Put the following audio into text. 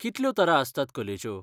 कितल्यो तरा आसतात कलेच्यो?